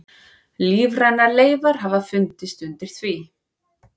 Lífrænar leifar hafa fundist undir því.